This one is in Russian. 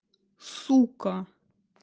сука